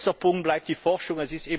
Letzter Punkt bleibt die Forschung.